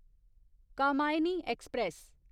Kamayani express